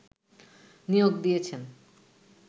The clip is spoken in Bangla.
নিয়োগ দিয়েছেন